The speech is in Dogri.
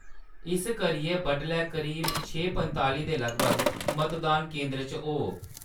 इस करियै बडलै करीब छे पंताली दे लगभग मतदान केंदर पर होवो।